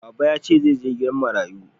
Baba ya ce ba zai je gidan marayu